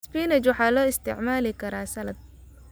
Spinach waxaa loo isticmaali karaa saladh.